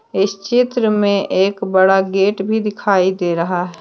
इस चित्र में एक बड़ा गेट भी दिखाई दे रहा है।